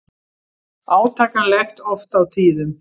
Átakanlegt oft á tíðum.